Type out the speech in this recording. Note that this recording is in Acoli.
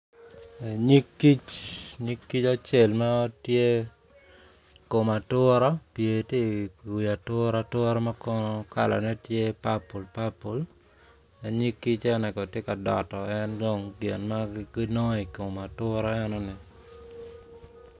Nyig kic nyig kic acel ma tye i kom atura ti i wi atura atura ma kono kalane tye papul papul nyig eno ni kono ti ka doto en dong gin ma ginongo i kom atura enoni